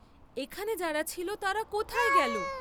এখানে যারা ছিল তারা কোথায় গেল?